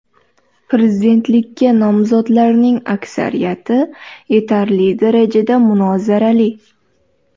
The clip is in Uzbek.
Prezidentlikka nomzodlarning aksariyati yetarli darajada munozarali.